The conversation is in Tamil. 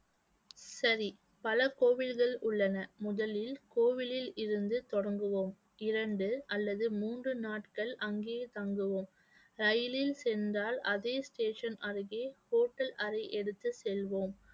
சரி பல கோவில்கள் உள்ளன. முதலில் கோவிலில் இருந்து தொடங்குவோம், இரண்டு அல்லது மூன்று நாட்கள் அங்கேயே தங்குவோம். ரயிலில் சென்றால் அதே station அருகே hotel அறை எடுத்துச் செல்வோம்